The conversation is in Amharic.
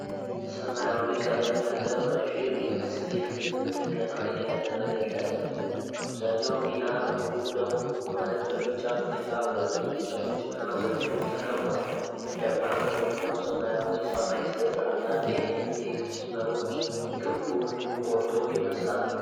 ሰማያዊ ቀለም ያለው ረዥም የ መስጊድ ግንብ ጥገና እየተደረገለት ነው። አብዛኛው ሚናር ሙሉ ለሙሉ ማለት በሚቻል ሁኔታ በብዙ እንጨቶችና ዘንጎች ተከቧል። ደማቅ በሆነው ሰማያዊ ሰማይ ስር፣ አንዳንድ የኤሌክትሪክ መስመሮች ግንቡን የሚቆርጡ ይመስላሉ።